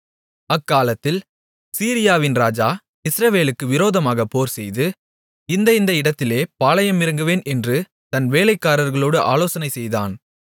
அக்காலத்தில் சீரியாவின் ராஜா இஸ்ரவேலுக்கு விரோதமாக போர்செய்து இந்த இந்த இடத்திலே பாளயமிறங்குவேன் என்று தன் வேலைக்காரர்களோடு ஆலோசனைசெய்தான்